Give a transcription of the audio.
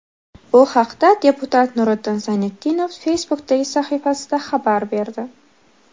Bu haqda deputat Nuriddin Zaynitdinov Facebook’dagi sahifasida xabar berdi .